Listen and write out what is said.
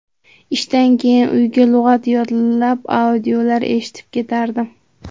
Ishdan keyin uyga lug‘at yodlab, audiolar eshitib ketardim.